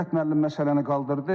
Qüdrət müəllim məsələni qaldırdı.